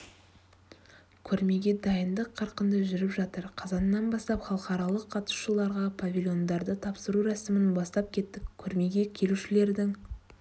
көрмеге дайындық қарқынды жүріп жатыр қазаннан бастап халықаралық қатысушыларға павильондарды тапсыру рәсімін бастап кеттік көрмеге келушілердің